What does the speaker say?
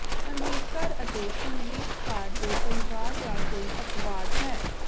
ਸੰਗੀਤਕਾਰ ਅਤੇ ਸੰਗੀਤਕਾਰ ਦੇ ਪਰਿਵਾਰ ਦਾ ਕੋਈ ਅਪਵਾਦ ਹੈ